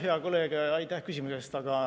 Hea kolleeg, aitäh küsimuse eest!